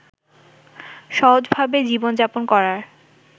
সহজভাবে জীবনযাপন করার